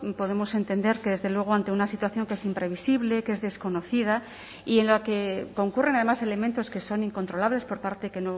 podemos entender que desde luego ante una situación que es imprevisible que es desconocida y en la que concurren además elementos que son incontrolables por parte que